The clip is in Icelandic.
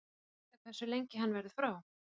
En er vitað hversu lengi hann verðu frá?